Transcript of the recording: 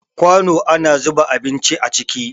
Kwano ana zuba abinci a ciki